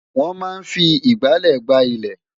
Wọ́́n máa ń fi ìgbálẹ̀ gbá ilẹ̀